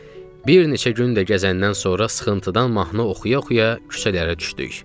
Bir neçə gün də gəzəndən sonra sıxıntıdan mahnı oxuya-oxuya küçələrə düşdük.